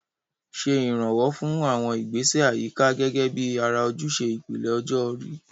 Ṣe ìrànwọ́ fún àwọn ìgbésẹ̀ àyíká gẹ́gẹ́ bí ara ojúṣe ìpele ọjọ́ orí.